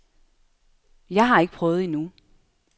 Jeg har ikke prøvet endnu.